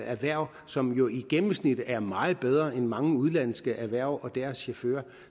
erhverv som jo i gennemsnit er meget bedre end mange udenlandske erhverv og deres chauffører